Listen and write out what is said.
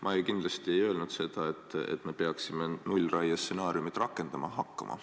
Ma kindlasti ei öelnud, et me peaksime nullraie stsenaariumi rakendama hakkama.